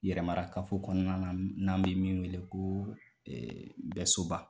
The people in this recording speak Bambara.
Yɛrɛmarakafo kɔnɔna na, n'an bɛ min wele ko Mbɛsoba.